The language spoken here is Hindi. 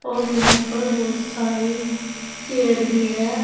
और यहां पर बहुत सारी चेयर भी है।